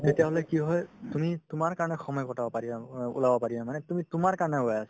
কি হয় তুমি তোমাৰ কাৰণে সময় কটাব পাৰিবা অ ও~ ওলাব পাৰিবা মানে তুমি তোমাৰ কাৰণে ওলাই আছা